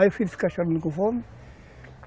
Aí o filho fica chorando com fome.